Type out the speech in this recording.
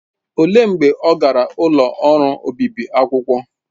Olee mgbe ọ gara ụlọ ọrụ obibi akwụkwọ?